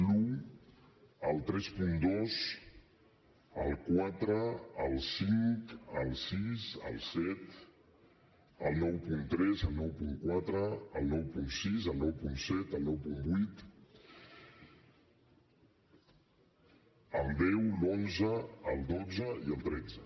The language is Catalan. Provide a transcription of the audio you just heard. l’un el trenta dos el quatre el cinc el sis el set el noranta tres el noranta quatre el noranta sis el noranta set el noranta vuit el deu l’onze el dotze i el tretze